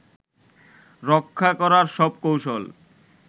রক্ষা করার সব কৌশল